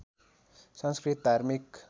संस्कृत धार्मिक